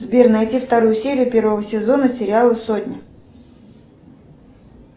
сбер найди вторую серию первого сезона сериала сотня